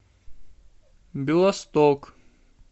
белосток